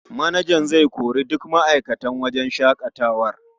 Manajan zai kori duk ma'aikatan wajen shaƙatawar.